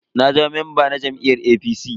Na zama mamba na jam'iyyar APC.